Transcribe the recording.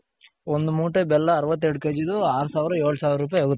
ಒಂದ್ ಮೂಟೆ ಬೆಲ್ಲ ಅರವತ್ತೆರಡ್ KGದು ಅರ್ ಸಾವಿರ ಏಳು ಸವ್ರ್ರುಪೈ ಹೋಗುತ್ತೆ .